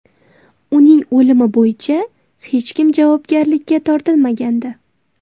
Uning o‘limi bo‘yicha hech kim javobgarlikka tortilmagandi.